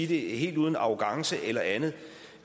helt uden arrogance eller andet